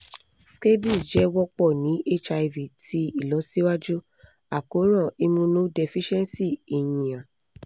scabies jẹ wọpọ ni hiv ti ilọsiwaju akoran immunodeficiency èniyàn